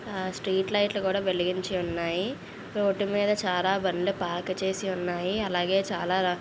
Street లైట్లు కూడా వెలిగించి ఉన్నాయ్. రోడ్డు మీద చాల బండ్లు పార్క్ చేసి ఉన్నాయ్. అలాగే చాల--